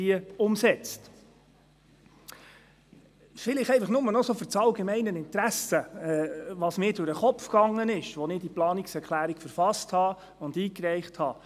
Vielleicht einfach noch aus allgemeinem Interesse: Was ging mir durch den Kopf, als ich diese Planungserklärung verfasste und einreichte?